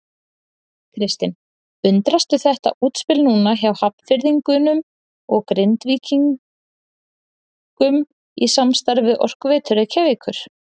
Kristinn: Undrastu þetta útspil núna hjá Hafnfirðingum og Grindvíkingum í samstarfi við Orkuveitu Reykjavíkur?